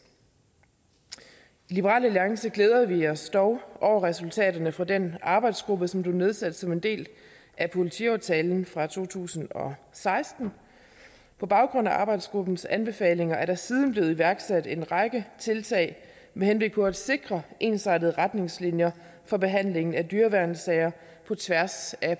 i liberal alliance glæder vi os dog over resultaterne fra den arbejdsgruppe som blev nedsat som en del af politiaftalen fra to tusind og seksten på baggrund af arbejdsgruppens anbefalinger er der siden blevet iværksat en række tiltag med henblik på at sikre ensartede retningslinjer for behandlingen af dyreværnssager på tværs af